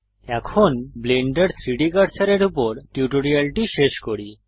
এখন ব্লেন্ডার 3ডি কার্সারের উপর টিউটোরিয়ালটি শেষ করি